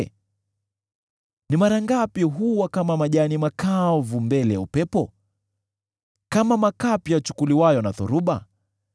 Ni mara ngapi huwa kama majani makavu mbele ya upepo, kama makapi yachukuliwayo na dhoruba?